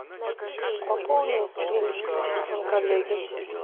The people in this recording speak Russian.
пополни денежкой телефон коллеги